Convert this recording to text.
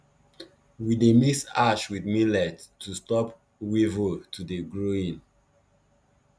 we dey mix ash with millet to stop weevil to dey growing